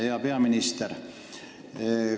Hea peaminister!